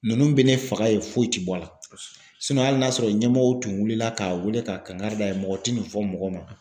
Ninnu bɛ ne faga yen foyi tɛ bɔ a la hali n'a sɔrɔ ɲɛmɔgɔw tun wulila k'a wele k'a kankari d'a ye mɔgɔ tɛ nin fɔ mɔgɔ ma .